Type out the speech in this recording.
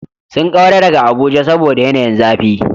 Sun kaura daga Abuja saboda yanayin zafi.